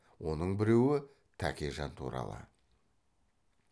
оның біреуі тәкежан туралы